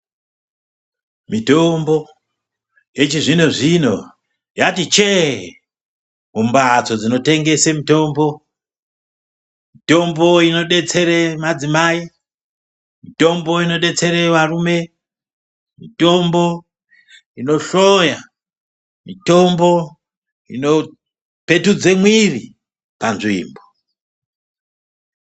Mitombo yechizvino zvino yati chee mumbatso dzinotengese mutombo, mitombo inodetsere madzimai, mitombo inodetsere varume, mitombo inohloya, mitombo inopetudze mwiri panzvimbo